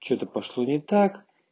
что-то пошло не так